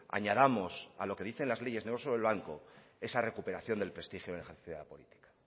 añadamos a lo que dicen las leyes negro sobre blanco esa recuperación del prestigio en el ejercicio de la política